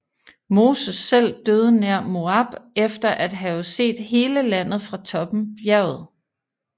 Moses selv døde nær Moab efter at have set hele landet fra toppen bjerget